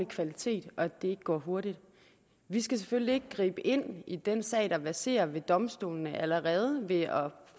kvalitet og at det ikke går hurtigt vi skal selvfølgelig ikke gribe ind i den sag der verserer ved domstolene allerede ved at